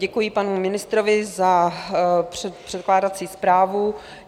Děkuji panu ministrovi za předkládací zprávu.